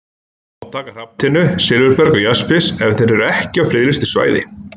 Má taka hrafntinnu, silfurberg og jaspis ef þeir eru ekki á friðlýstu svæði?